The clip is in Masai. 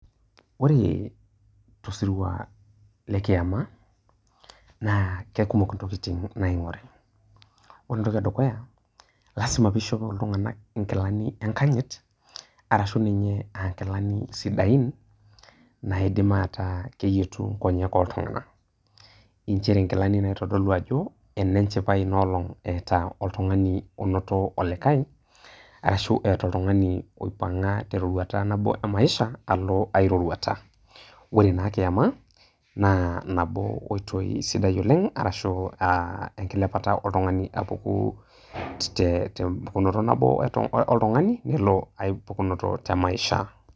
ore tosirua lekiama, naa kekumok intokitin naaing'ori, ore entoki edukuya lazima pee ishopo iltung'anak inkilani, enkanyit, arashu ninye aaa nkilani sidain naaidim ataa keyietu nkonyek oltung'ana. nchere nkilani naitodolu ajo ene nchipai ino olong'.eeta oltung'ani onoto olikae, arashu eeta oltung'ani oipang'a teroruata nabo emaisha alo ae roruata. ore naa kiama naa, nabo oitoi sidai oleng' arashu aa enkilepata oltung'ani apuku te mpukunoto nabo oltung'ani nelo ae pukunoto te maisha.